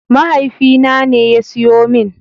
Mahaifina ne ya siyo min.